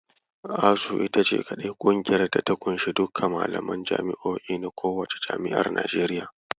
ASUU ita ce kaɗai kungiyar da ta ƙunshi duka malaman jami'o'in na kowacce jami'ar Najeriya.